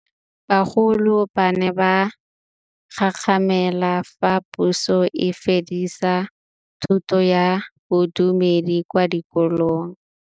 Bagolo ba ne ba gakgamala fa Pusô e fedisa thutô ya Bodumedi kwa dikolong.